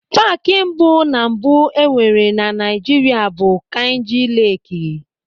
Paaki mbụ ná mbụ enwere na Naịjirịa bụ Kainji Leekị.